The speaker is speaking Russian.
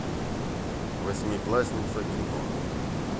восьмиклассница кино